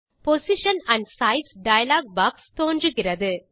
position and size dialog box தோன்றுகிறது